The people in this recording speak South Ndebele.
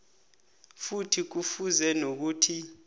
futhi kufuze nokuthi